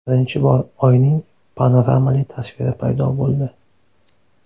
Birinchi bor Oyning panoramali tasviri paydo bo‘ldi.